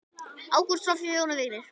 Ágústa, Soffía og Jón Vignir.